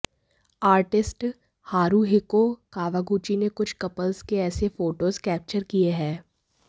artist Haruhiko Kawaguchi ने कुछ couples के ऐसे फोटोज कैप्चर किए हैं